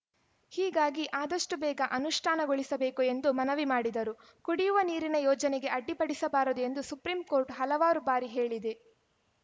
ಹೀಗಾಗಿ ಆದಷ್ಟುಬೇಗ ಅನುಷ್ಠಾನಗೊಳಿಸಬೇಕು ಎಂದು ಮನವಿ ಮಾಡಿದರು ಕುಡಿಯುವ ನೀರಿನ ಯೋಜನೆಗೆ ಅಡ್ಡಿಪಡಿಸಬಾರದು ಎಂದು ಸುಪ್ರೀಂ ಕೋರ್ಟ್‌ ಹಲವಾರು ಬಾರಿ ಹೇಳಿದೆ